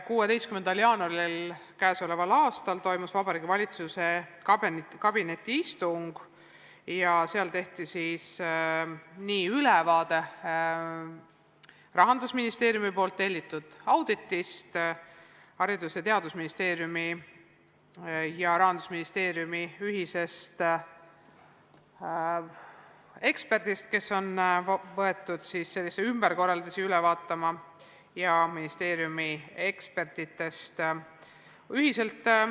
16. jaanuaril k.a toimus Vabariigi Valitsuse kabinetiistung ja seal tehti ülevaade Rahandusministeeriumi tellitud auditist, Haridus- ja Teadusministeeriumi ja Rahandusministeeriumi ühise eksperdi arvamusest – ekspert on võetud ümberkorraldusi üle vaatama – ning ministeeriumi ekspertide seisukohtadest.